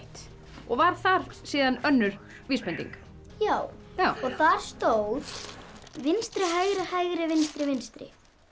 og var þar önnur vísbending já já og þar stóð vinstri hægri hægri vinstri vinstri